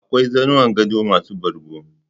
Akwai zanuwan gado masu bargo